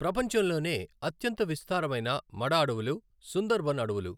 ప్రపంచంలోనే అత్యంత విస్తారమైన మడఅడవులు సుందర్ బన్ అడవులు.